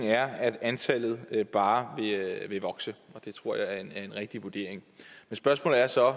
er at antallet bare vil vokse og det tror jeg er en rigtig vurdering men spørgsmålet er så